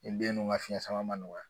Nin den nun ka fiɲɛ sama ma nɔgɔ